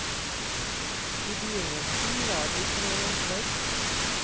I begynnelsen var de tre jenter.